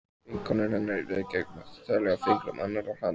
Vinkonur hennar í Reykjavík mátti telja á fingrum annarrar handar.